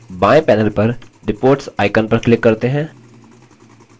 बाएँ panel पर reports icon पर click करते हैं